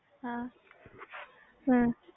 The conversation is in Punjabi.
ਹਾਂ